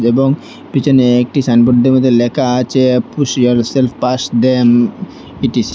এবং পিছনে একটি সাইনবোর্ডের মধ্যে লেখা আছে push yourself past them it is